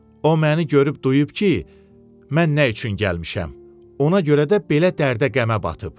O məni görüb duyub ki, mən nə üçün gəlmişəm, ona görə də belə dərdə qəmə batıb.